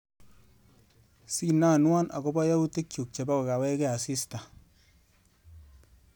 Sinanwa akobo yautikchu chebo kokawechkwe asista.